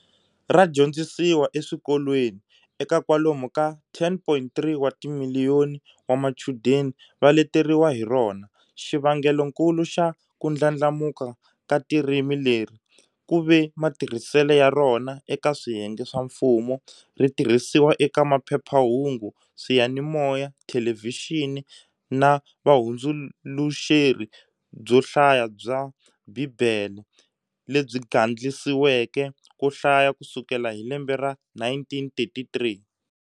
Radyondzisiwa eswikolweni, eka kwalomu ka 10.3 wa timiliyoni wa machudeni va leteriwa hi rona. xivangelonkulu xa kundlandlamuka ka tirimi leri kuve matirhisele ya rona eka swiyenge swa mfumo-ritirhisiwa eka maphephahungu, swiyanimoya, thelevixini, na vuhundzuluxeri byohlaya bya bhibhele, lebyi gandlisiweke kohlaya kusukela hi lembe ra 1933.